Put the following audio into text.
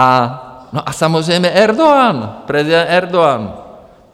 A samozřejmě Erdogan - prezident Erdogan.